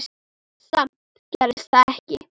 Samt gerðist það ekki.